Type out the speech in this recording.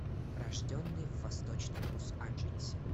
рожденный в восточном лос анджелесе